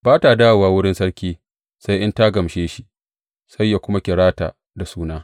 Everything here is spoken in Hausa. Ba ta dawowa wurin sarki sai in ta gamshe shi, sai ya kuma kira ta da suna.